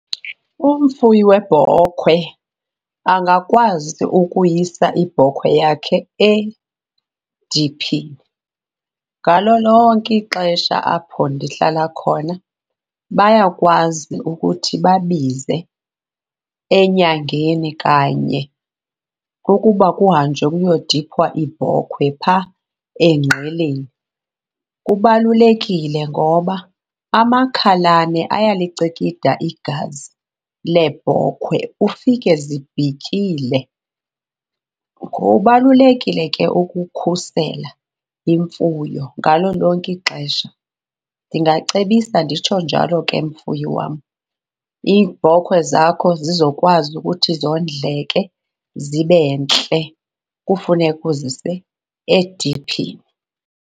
Umfuyi webhokhwe angakwazi ukuyisa ibhokhwe yakhe ediphini. Ngalo lonke ixesha apho ndihlala khona bayakwazi ukuthi babize enyangeni kanye ukuba kuhanjwe kuyodiphwa iibhokhwe phaa eNgqeleni. Kubalulekile ngoba amakhalane ayalicikida igazi leebhokhwe ufike zibhityile. Kubalulekile ke ukukhusela imfuyo ngalo lonke ixesha. Ndingacebisa nditsho njalo ke mfuyi wam. Iibhokhwe zakho zizokwazi ukuthi zondleke zibe ntle, kufuneka uzise ediphini.